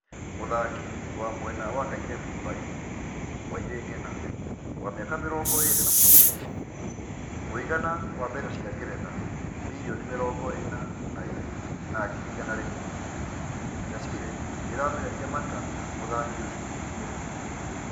Mũthaki wa mwena wa Kairebu Palii, Wairĩ Ng'ĩna, wa mĩaka mĩrongoĩrĩ na-mũgũanja. Mũigana wa Pound mirioni mĩrongoĩna na-ĩmwe na ngirĩ igana rĩmwe. Chasile ĩramereria mata mũthaki ũcio wa mwena ngũthi.